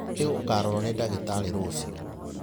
Nĩ ũkarorwo nĩ ndagitarĩ rũciũ.